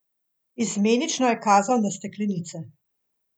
Izmenično je kazal na steklenice.